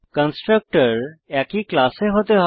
constructor একই ক্লাসে হতে হবে